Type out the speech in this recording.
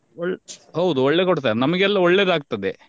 ಒಳ್~ ಹೌದು ಒಳ್ಳೆ ಕೊಡ್ತಾರೆ ನಮಿಗೆಲ್ಲ ಒಳ್ಳೆದಾಗ್ತದೆ.